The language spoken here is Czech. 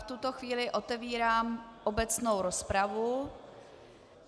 V tuto chvíli otevírám obecnou rozpravu.